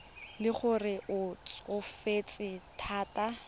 le gore o tsofetse thata